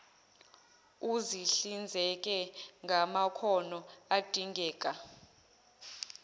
uzihlinzeke ngamakhono adingeka